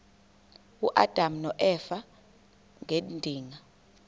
uadam noeva ngedinga